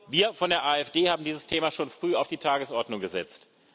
Wir von der AfD haben dieses Thema schon früh auf die Tagesordnung gesetzt.